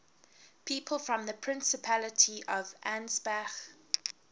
people from the principality of ansbach